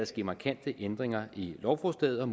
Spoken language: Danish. ske markante ændringer i lovforslaget og